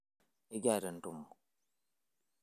ekiata entumo